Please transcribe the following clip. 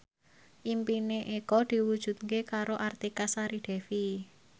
impine Eko diwujudke karo Artika Sari Devi